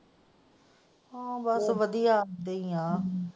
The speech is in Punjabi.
ਹਾਂ ਬਸ ਵਧੀਆ ਇਹਦਾ ਹੀ ਹੈ।